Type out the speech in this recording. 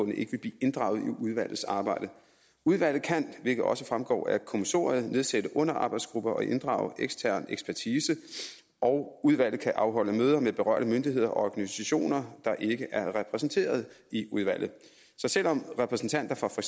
ikke vil blive inddraget i udvalgsarbejdet udvalget kan hvilket også fremgår af kommissoriet nedsætte underarbejdsgrupper og inddrage ekstern ekspertise og udvalget kan afholde møder med berørte myndigheder og organisationer der ikke er repræsenteret i udvalget så selv om repræsentanter fra for